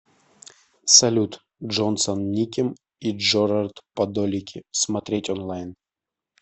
салют джонсон никем и джорард падолики смотреть онлайн